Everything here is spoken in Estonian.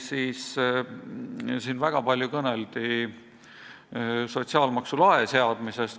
Siin kõneldi väga palju sotsiaalmaksu lae seadmisest.